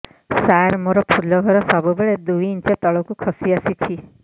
ସାର ମୋର ଫୁଲ ଘର ସବୁ ବେଳେ ଦୁଇ ଇଞ୍ଚ ତଳକୁ ଖସି ଆସିଛି